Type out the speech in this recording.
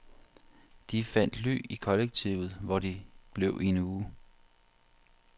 De fandt ly i kollektivet, hvor de blev i en uge.